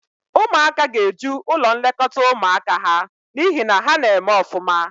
Ụmụaka ga-eju ụlọ nlekọta ụmụaka ha n'ihi na ha na-eme ọfụma.